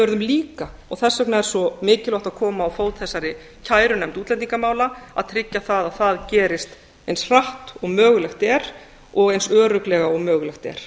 verðum líka og þess vegna er svo mikilvægt að koma á fót þessari kærunefnd útlendingamála að tryggja að það gerist eins hratt og mögulegt er og eins örugglega og mögulegt er